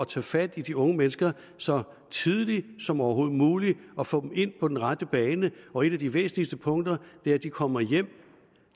tage fat i de unge mennesker så tidligt som overhovedet muligt og få dem ind på den rette bane og et af de væsentligste punkter er at de kommer hjem